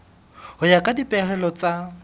ho ya ka dipehelo tsa